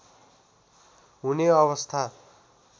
हुने अवस्था